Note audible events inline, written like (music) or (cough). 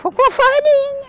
(unintelligible) farinha.